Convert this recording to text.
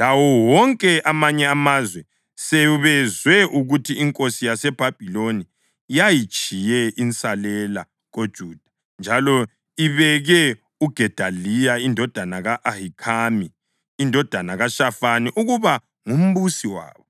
lawo wonke amanye amazwe sebezwe ukuthi inkosi yaseBhabhiloni yayitshiye insalela koJuda njalo ibeke uGedaliya indodana ka-Ahikhami indodana kaShafani, ukuba ngumbusi wabo,